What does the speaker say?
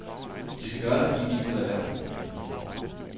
De skal gøre det, fordi de ikke kan lade være.